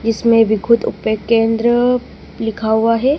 इसमें भी खुद ऊपे केंद्र लिखा हुआ है।